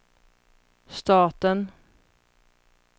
staten